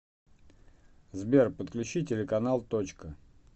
сбер подключи телеканал точка